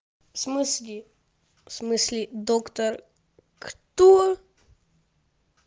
в смысле в смысле доктор кто